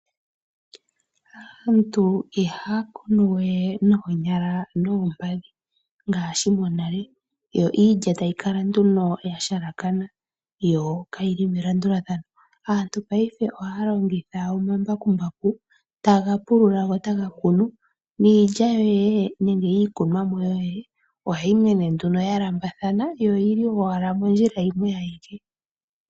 Aantu ihaya kunu we noonyala noompadhi ngaashi monale, yo iilya tayi kala nduno ya halakana yo kayi li melandulathano. Aantu paife ohaya longitha omambakumbaku, taga pulula go taga kunu niilya yoye nenge iikunwamo yoye ohayi mene nduno ya landulathana yo oyi li owala momikweyo.